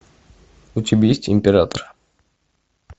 у тебя есть император